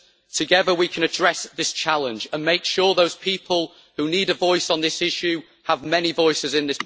Together, we can address this challenge and make sure those people who need a voice on this issue have many voices in this Parliament.